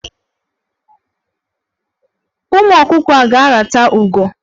Ụmụ ọkụkọ a ga-arata ugo.